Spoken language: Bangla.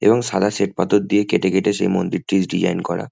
এবং সাদা শ্বেত পাথর দিয়ে কেটে কেটে সেই মন্দিরটি ডিজাইন করা।